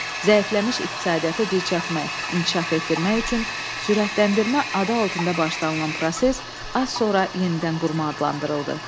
Zəifləmiş iqtisadiyyatı dirçəltmək, inkişaf etdirmək üçün sürətləndirmə adı altında başlanılan proses az sonra yenidən qurma adlandırıldı.